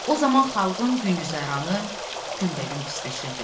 O zaman xalqın güzəranı günbəgün pisləşirdi.